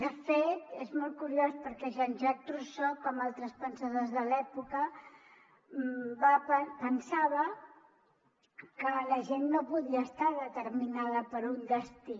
de fet és molt curiós perquè jean jacques rousseau com altres pensadors de l’època pensava que la gent no podia estar determinada per un destí